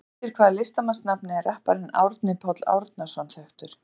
Undir hvaða listamannsnafni er rapparinn Árni Páll Árnason þekktur?